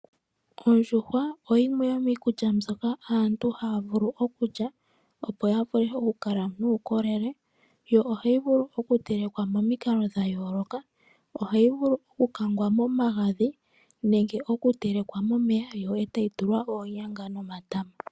Ondjuhwa oyimwe yomiikulya mbyoka aantu haya vulu okulya opo yavule okukala nuukolele, yo ohayi vulu okutelekelwa momikalo dhayooloka. Ohayi vulu okukangwa momagadhi nenge okutelekwa momeya yo etayi tulwa oonyanga nomatama.